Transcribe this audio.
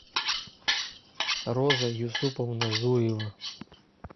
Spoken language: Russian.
роза юсуповна зуева